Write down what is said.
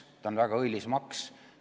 See on väga õilis maks.